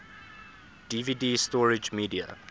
dvd storage media